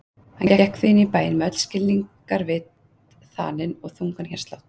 Hann gekk því inn í bæinn með öll skilningarvit þanin og þungan hjartslátt.